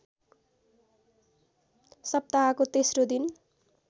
सप्ताहको तेस्रो दिन